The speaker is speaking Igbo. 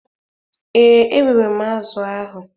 Ee, erere m azụ̀ ahụ.